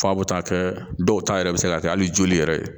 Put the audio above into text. F'a bɛ taa kɛ dɔw ta yɛrɛ bɛ se ka kɛ hali joli yɛrɛ